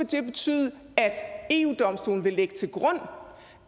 det betyde at eu domstolen vil lægge til grund